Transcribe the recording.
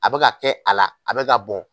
A bɛka kɛ a la a bɛka ka bɔn.